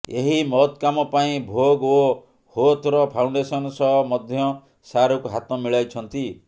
ଏହି ମହତ କାମ ପାଇଁ ଭୋଗ୍ ଓ ହୋଥର ଫାଉଣ୍ଡେସନ୍ ସହ ମଧ୍ୟ ଶାହରୁଖ ହାତ ମିଳାଇଛନ୍ତି